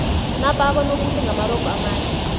napa abonobuhle ngamarogo amade